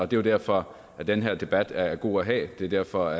det er derfor den her debat er god at have det er derfor